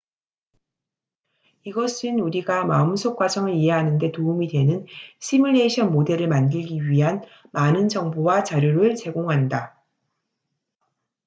이것은 우리가 마음속 과정을 이해하는 데 도움이 되는 시뮬레이션 모델을 만들기 위한 많은 정보와 자료를 제공한다